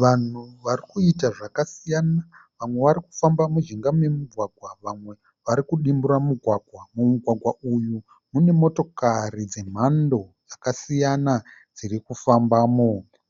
Vanhu vari kuita zvakasiyana. Vamwe vari kufamba mujinga memugwagwa vamwe vari kudimbura mugwagwa. Mumugwagwa uyu mune motokari dzemhando dzakasiyana dziri kufambamo.